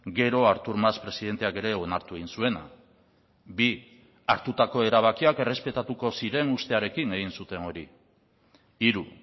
gero artur mas presidenteak ere onartu egin zuena bi hartutako erabakiak errespetatuko ziren ustearekin egin zuten hori hiru